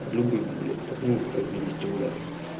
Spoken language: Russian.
любых блять там ну по крайней мере стимуляторов